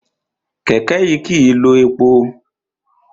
Kẹ̀kẹ́ kìí lo epo.